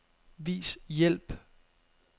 Vis hjælp.